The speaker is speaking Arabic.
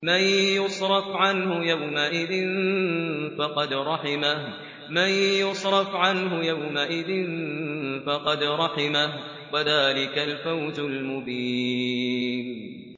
مَّن يُصْرَفْ عَنْهُ يَوْمَئِذٍ فَقَدْ رَحِمَهُ ۚ وَذَٰلِكَ الْفَوْزُ الْمُبِينُ